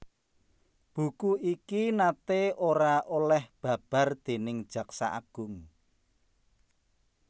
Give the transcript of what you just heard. Buku iki naté ora oleh babar déning Jaksa Agung